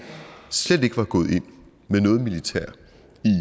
slet ikke var gået ind med noget militær